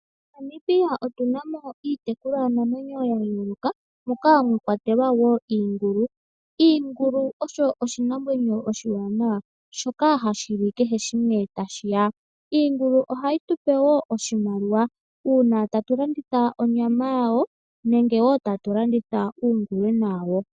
MoNamibia otu na mo iitekulwanamwenyo ya yooloka, moka mwa kwatelwa wo iingulu. Iingulu oyo iinamwenyo iiwanawa mbyoka hayi li kehe shimwe ta shi ya. Iingulu ohayi tu pe wo oshimaliwa uuna tatu landitha onyama yawo nenge tatu landitha uungulwena wawo.